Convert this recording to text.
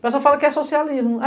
O pessoal fala que é socialismo.